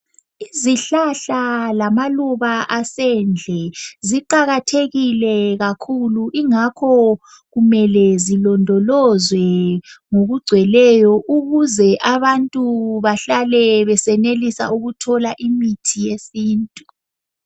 Izihlahla lamaluba asendle ziqakathekile kakhulu, ingakho kumele zilondolozwe ngokugcweleyo ukuze abantu bahlale besenelisa ukuthola imithi yesintu.